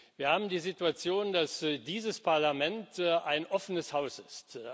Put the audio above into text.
Wir haben die Situation, dass dieses Parlament ein offenes Haus ist.